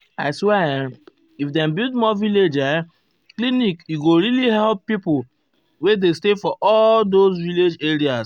i swear[um]if dem build more village erm clinic e go really help pipo wey um dey stay for all those um village areas.